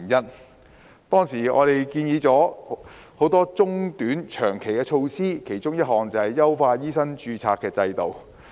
我們當時建議了多項短、中、長期的措施，其中之一就是優化醫生註冊制度。